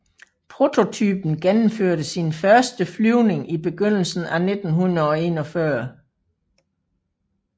Prototypen gennemførte sin første flyvning i begyndelsen af 1941